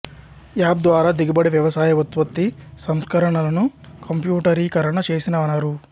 app ద్వారా దిగుబడి వ్యవసాయ ఉత్పత్తి సంస్కరణలను కంప్యూటరీకరణ చేసినారు